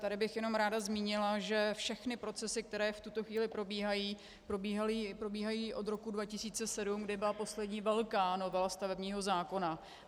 Tady bych jenom ráda zmínila, že všechny procesy, které v tuto chvíli probíhají, probíhají od roku 2007, kdy byla poslední velká novela stavebního zákona.